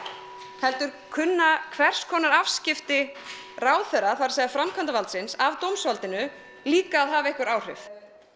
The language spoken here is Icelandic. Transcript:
heldur kunna hvers konar afskipti ráðherra það er framkvæmdavaldsins af dómsvaldinu líka að hafa einhver áhrif